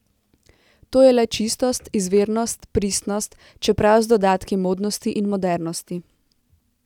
To je le čistost, izvirnost, pristnost, čeprav z dodatki modnosti in modernosti.